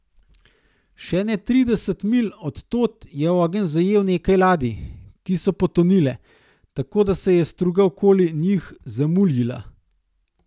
Še ne trideset milj od tod je ogenj zajel nekaj ladij, ki so potonile, tako da se je struga okoli njih zamuljila.